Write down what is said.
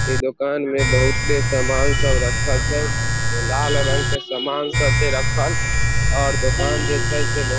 इ दुकान में बहुते सामान सब रखल छै लाल रंग के सामान सब छै रखल और दुकान जे छै से बहुते --